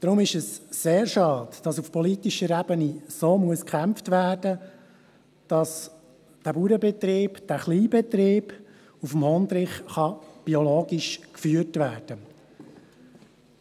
Deshalb ist es sehr schade, dass auf politischer Ebene so sehr gekämpft werden muss, damit dieser Bauernbetrieb, dieser Kleinbetrieb auf dem Hondrich biologisch geführt werden kann.